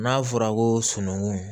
N'a fɔra ko sununŋu